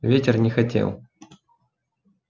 ветер не хотел